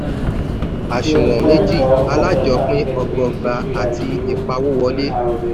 àṣùwọ̀n méjì: alájọpín ọgbọọgba àti ìpawówolé.